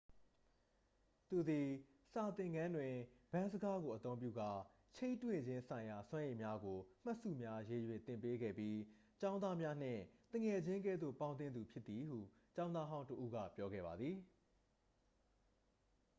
သူသည် စာသင်ခန်းတွင် ဗန်းစကားကိုအသုံးပြုကာ ချိန်းတွေ့ခြင်းဆိုင်ရာစွမ်းရည်များကို မှတ်စုများရေး၍ သင်ပေးခဲ့ပြီး ကျောင်းသားများနှင့် သူငယ်ချင်းကဲ့သို့ပေါင်းသင်းသူ' ဖြစ်သည်ဟု ကျောင်းသားဟောင်းတစ်ဦးက ပြောခဲ့ပါသည်